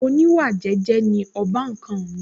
oníwà jẹ́jẹ́ ni ọbàkan mi